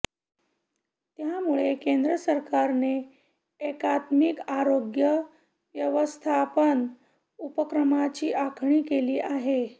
त्यामुळे केंद्रसरकारने एकात्मिक आरोग्य व्यवस्थापन उपक्रमांची आखणी केली आहे